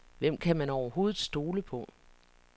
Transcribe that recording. Hvem kan man overhovedet stole på.